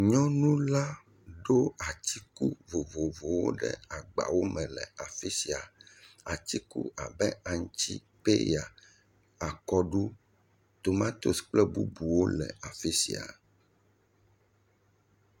Nyɔnu la ɖo atiku vovovowo ɖe agbawo me le afi sia, atiku abe aŋuti, peya akɔɖu tomatosi kple bubuwo le afi sia.